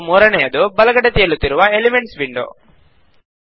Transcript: ಮತ್ತು ಮೂರನೆಯದು ಬಲಗಡೆ ತೇಲುತ್ತಿರುವ ಎಲಿಮೆಂಟ್ಸ್ ವಿಂಡೋ